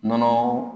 Nɔnɔ